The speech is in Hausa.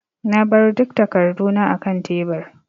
Na bar duk takarduna akan tebur.